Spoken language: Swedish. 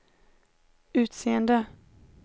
utseende